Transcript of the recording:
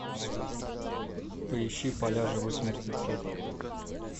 поищи поля живых мертвецов